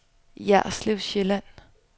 Jerslev Sjælland